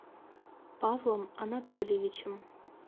павлом анатольевичем